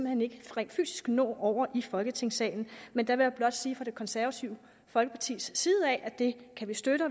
hen ikke rent fysisk nå over i folketingssalen men jeg vil blot sige fra det konservative folkepartis side at det kan vi støtte